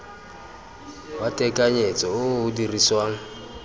wa tekanyetso o o dirisiwang